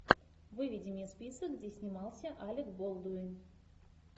выведи мне список где снимался алек болдуин